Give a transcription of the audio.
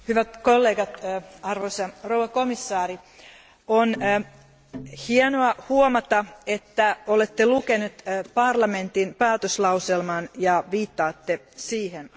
Hyvät kollegat, arvoisa komissaari, on hienoa huomata, että olette lukenut parlamentin päätöslauselman ja viittaatte siihen.